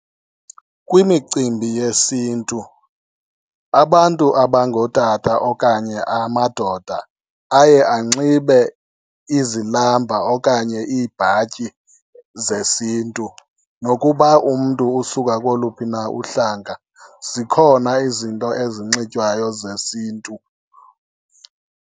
Kwimicimbi yesintu abantu abangootata okanye amadoda aye anxibe izilamba okanye iibhatyi zesintu. Nokuba umntu usuka koluphi na uhlanga, zikhona izinto ezinxitywayo zesintu.